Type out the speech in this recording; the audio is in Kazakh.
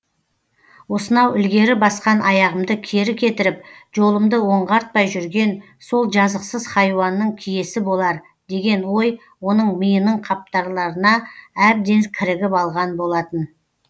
осынау ілгері басқан аяғымды кері кетіріп жолымды оңғартпай жүрген сол жазықсыз хайуанның киесі болар деген ой оның миының қаптарларына әбден кірігіп алған болатын